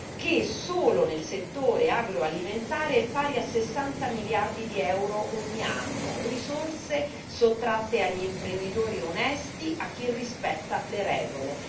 che, solo nel settore agroalimentare, è pari a 60 miliardi di euro ogni anno, risorse sottratte agli imprenditori onesti, a chi rispetta le regole.